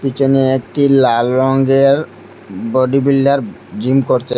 পিছনে একটি লাল রঙ্গের বডিবিল্ডার জিম করছে।